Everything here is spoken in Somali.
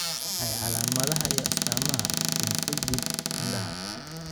Waa maxay calaamadaha iyo astaamaha pemphigoid indhaha?